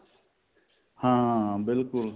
ਹਾਂ ਬਿਲਕੁਲ